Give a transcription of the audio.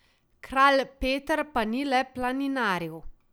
Kralj Peter pa ni le planinaril.